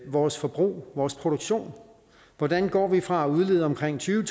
vores forbrug vores produktion hvordan går vi fra at udlede omkring tyve